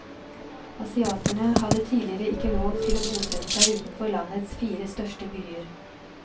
Asiatene hadde tidligere ikke lov til å bosette seg utenfor landets fire største byer.